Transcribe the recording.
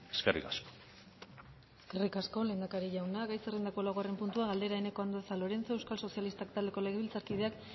eskerrik asko eskerrik asko lehendakari jauna gai zerrendako laugarren puntua galdera eneko andueza lorenzo euskal sozialistak taldeko legebiltzarkideak